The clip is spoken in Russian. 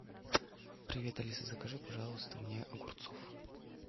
привет алиса закажи пожалуйста мне огурцов